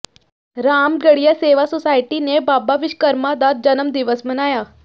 Ramgarhia Sewa society ਨੇ ਬਾਬਾ ਵਿਸ਼ਵਕਰਮਾ ਦਾ ਜਨਮ ਦਿਵਸ ਮਨਾਇਆ